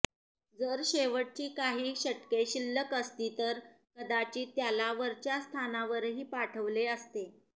जर शेवटची काही षटके शिल्लक असती तर कदाचित त्याला वरच्या स्थानावरही पाठवले असते